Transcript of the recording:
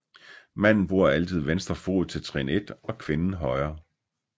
Manden bruger altid venstre fod til trin 1 og kvinden højre